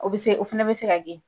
O bɛ se o fana bɛ se ka kɛ .